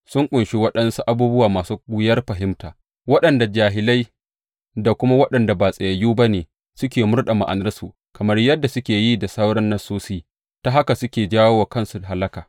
Wasiƙunsa sun ƙunshi waɗansu abubuwa masu wuyar fahimta, waɗanda jahilai da kuma waɗanda ba tsayayyu ba ne suke murɗe ma’anarsu, kamar yadda suke yi da sauran Nassosi, ta haka suke jawo wa kansu hallaka.